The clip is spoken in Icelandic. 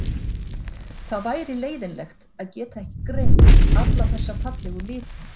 Það væri leiðinlegt að geta ekki greint alla þessa fallegu liti.